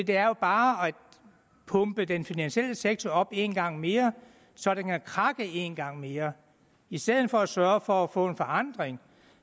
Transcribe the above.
det er jo bare at pumpe den finansielle sektor op en gang mere så den kan krakke en gang mere i stedet for at sørge for at få en forandring